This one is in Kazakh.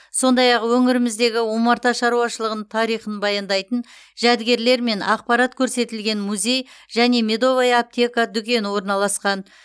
сондай ақ өңіріміздегі омарта шаруашылығының тарихын баяндайтын жәдігерлер мен ақпарат көрсетілген музей және медовая аптека дүкені орналасқан